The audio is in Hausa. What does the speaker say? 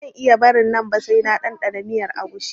Ba zan iya barin nan ba sai na ɗanɗana miyar agushi